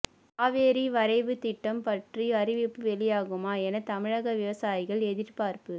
காவிரி வரைவு திட்டம் பற்றி அறிவிப்பு வெளியாகுமா என தமிழக விவசாயிகள் எதிர்பார்ப்பு